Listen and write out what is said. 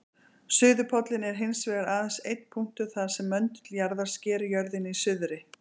Suðurpóllinn er hins vegar aðeins einn punktur þar sem möndull jarðar sker jörðina í suðri.